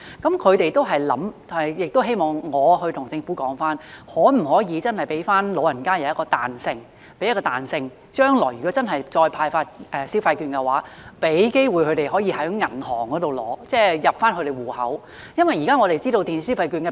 我們知道電子消費券的平台提供不少優惠，所以我相信能鼓勵其他人使用電子消費券，但對於一些老人家而言，如果他們難以使用電子消費模式，向他們發放現金或存入其銀行戶口會是較好的模式。